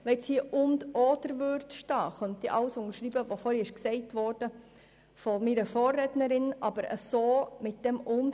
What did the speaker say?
Wenn hier «und/oder» stehen würde, könnte ich alles unterschreiben, was von meiner Vorrednerin gesagt worden ist.